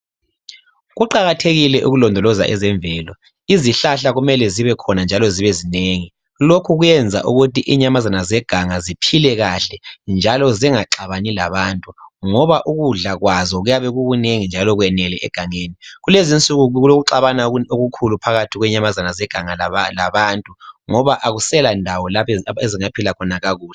Kuqakathekile ukulondoloza ezemvelo. Izihlahla kumele zibekhona njalo zibenengi. Lokhu kuyenza ukuthi izinyamazana zeganga ziphile kahle njalo zingaxabani labantu ngoba ukudla kwazo kuyabe kukunengi njalo kwenelw egangeni. Kulezinsuku kulokuxabana okukhulu phakathi kwenyamazana zeganga labantu ngoba akusela ndawo lapho ezingaphila khona kakuhle.